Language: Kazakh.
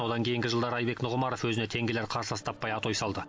одан кейінгі жылдары айбек нұғымаров өзіне тең келер қарсылас таппай атой салды